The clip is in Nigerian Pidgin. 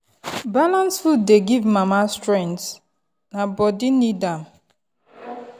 balanced food dey give mama strength na body need am.